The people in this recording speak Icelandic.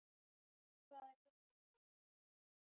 Hvað er hjartað stórt?